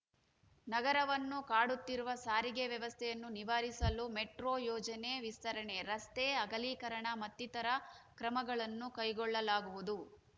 ನಗರವನ್ನು ಕಾಡುತ್ತಿರುವ ಸಾರಿಗೆ ವ್ಯವಸ್ಥೆಯನ್ನು ನಿವಾರಿಸಲು ಮೆಟ್ರೋ ಯೋಜನೆ ವಿಸ್ತರಣೆ ರಸ್ತೆ ಅಗಲೀಕರಣ ಮತ್ತಿತರ ಕ್ರಮಗಳನ್ನು ಕೈಗೊಳ್ಳಲಾಗುವುದು